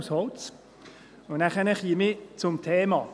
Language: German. Nun käme ich zum Thema.